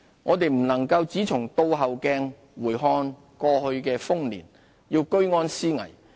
我們不能只從"倒後鏡"回看過去的豐年，要居安思危。